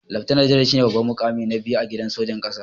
Leftana janar shine babban mukami na biyu a gidan sojan ƙasa.